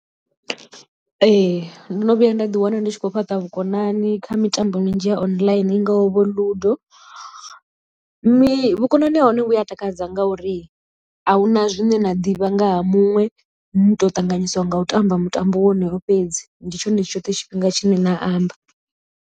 Ee ndo no vhuya nda ḓi wana ndi tshi khou fhaṱa vhukonani kha mitambo minzhi ya online i ngaho vho Ludo mi vhukonani ha hone vhu a takadza ngauri ahuna zwine na ḓivha nga ha muṅwe ni to ṱanganyisiwa nga u tamba mutambo wonoyo fhedzi ndi tshone tshoṱhe tshifhinga tshine na amba.